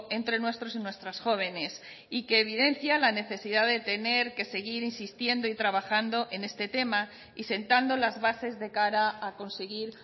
entre nuestros y nuestras jóvenes y que evidencia la necesidad de tener que seguir insistiendo y trabajando en este tema y sentando las bases de cara a conseguir